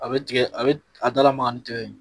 A bɛ tigɛ a bɛ a da lamaka ni tigɛ ye.